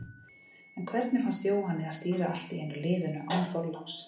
En hvernig fannst Jóhanni að stýra allt í einu liðinu, án Þorláks?